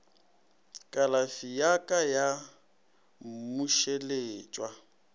kalafi ya ka ya mmušeletšwa